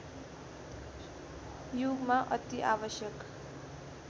युगमा अति आवश्यक